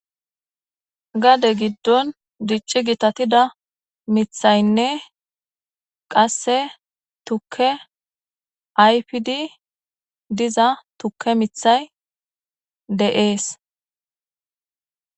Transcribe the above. Gade gidon dici gitatida mithayne qase tuke ayfidi diza tuke mithay de'es